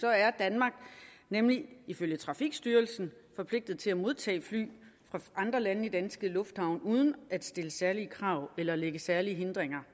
er danmark nemlig ifølge trafikstyrelsen forpligtet til at modtage fly fra andre lande i danske lufthavne uden at stille særlige krav eller lægge særlige hindringer